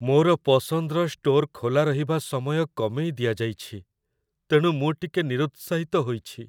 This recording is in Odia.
ମୋର ପସନ୍ଦର ଷ୍ଟୋର ଖୋଲା ରହିବା ସମୟ କମେଇ ଦିଆଯାଇଛି, ତେଣୁ ମୁଁ ଟିକେ ନିରୁତ୍ସାହିତ ହୋଇଛି।